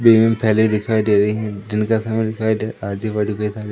green थैले दिखाई दे रही है दिन का समय दिखाई दे आजू-बाजू कई सारे --